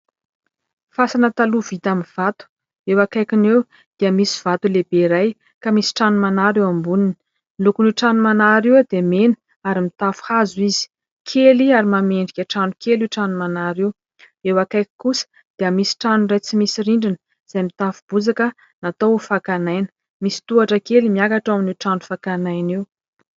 Fasana taloha vita amin'ny vato: eo akaikiny eo dia misy vato lehibe iray ka misy trano manara eo amboniny, ny lokony io trano manara io dia mena ary mitafo hazo izy, kely ary manome endrika trano kely io trano manara io, eo akaiky kosa dia misy trano iray tsy misy rindrina izay mitafo bozaka natao ho fakana aina, misy tohatra kely miakatra ao amin'io trano fakana aina io.